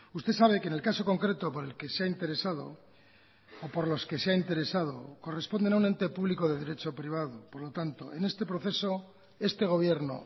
usted sabe que en el caso concreto por el que se ha interesado o por los que se ha interesado corresponden a un ente público de derecho privado por lo tanto en este proceso este gobierno